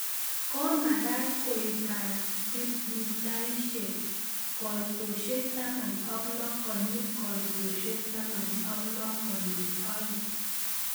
ko magat koek cendimitaishek koitoshek taman ak loo konyil koitoshek taman ak loo konyil oeng